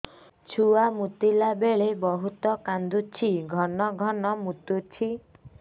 ଛୁଆ ମୁତିଲା ବେଳେ ବହୁତ କାନ୍ଦୁଛି ଘନ ଘନ ମୁତୁଛି